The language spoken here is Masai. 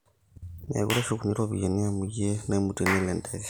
mekure eshukuni ropiyani amu iyie naimutie nelo enteke